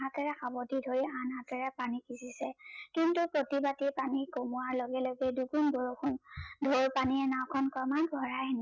হাতেৰে সাবতি ধৰি আন হাতেৰে পানী সিচিছে কিন্তু প্ৰতিবাদি পানী কমোৱাৰ লগে লগে দুগুন বৰষুন ঢৌৰ পানীয়ে নাও খন কমাই ভৰাই আনিছে, সহায়ত খিন পোহৰত